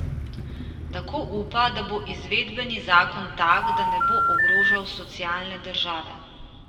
Tako upa, da bo izvedbeni zakon tak, da ne bo ogrožal socialne države.